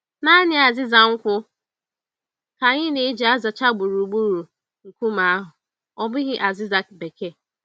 Nanị azịza nkwụ ka anyị n'eji azacha gburugburu nkume ahụ, ọ bụghị azịza bekee